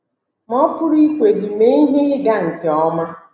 Ma, ọ pụrụ ikwe gị mee ihe ịga nke ọma!